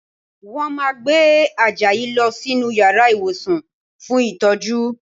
Wọ́n máa gbé Àjàyí lọ sínú yàrá ìwòsàn fún ìtọ́jú